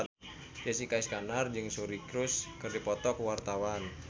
Jessica Iskandar jeung Suri Cruise keur dipoto ku wartawan